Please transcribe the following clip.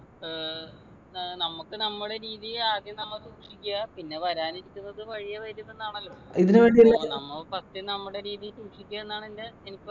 ഏർ ഏർ നമുക്ക് നമ്മുടെ രീതി ആദ്യം നമ്മ സൂക്ഷിക്കാ പിന്നെ വരാനിരിക്കുന്നതു വഴിയേ വരുമെന്നാണല്ല അപ്പോ നമ്മൊ first നമ്മുടെ രീതീ സൂക്ഷിക്ക എന്നാണ് എൻ്റെ എനിക്ക്